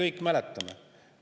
Me kõik mäletame.